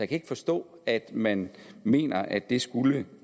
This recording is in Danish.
kan ikke forstå at man mener at det skulle